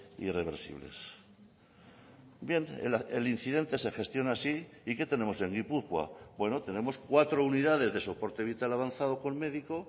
irreversibles bien el incidente se gestiona así y qué tenemos en gipuzkoa bueno tenemos cuatro unidades de soporte vital avanzado con médico